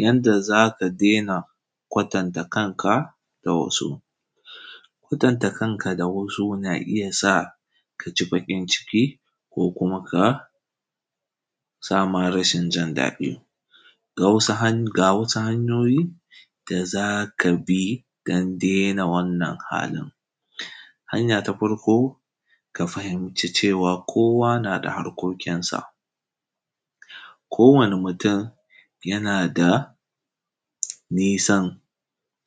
Yanda za ka daina kwatanta kanka da wasu. Kwatanta kanka da wasu na iya sa ka ji baƙin ciki, ko kuma ka, ya sa ma rashin jin daɗi. Ga wasu hanyoyi da za ka bi don daina wannan halin; hanya ta farko, ka fahimci cewa kowa na da harkokinsa, kowane mutum yana da nisan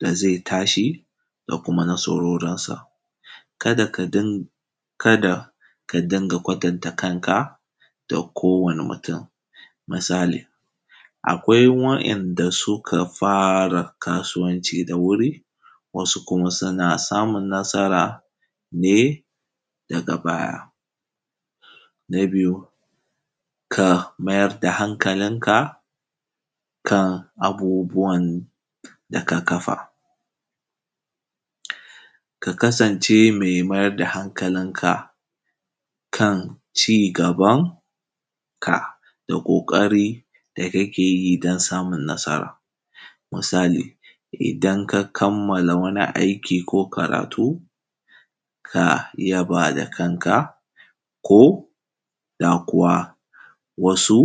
da zai tashi da kuma nasarorinsa. Kada ka din, kada ka dinga kwatanta kanka da kowane mutum, misali, akwai wa’inda suka fara kasuwanci da wuri, wasu kuma suna samun nasara ne daga baya. Na biyu ka mayar da hankalinka kan abubuwan da ka kafa. Ka kasance mai mayar da hankalinka kan ci-gaban ka da ƙoƙari da kake yi don samun nasara, misali, idan ka kamala wani aiki ko karatu, ka iya ba da kanka ko da kuwa wasu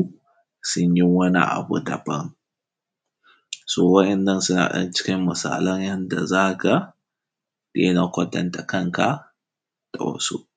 sun yi wani abu daban. So wa’innan suna ɗan cikin misalan da zaka daina kwatanta kanka da wasu.